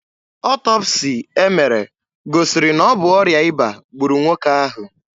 Ọtọpsii e mere gosiri na ọ bụ ọrịa ịba gburu nwoke ahụ.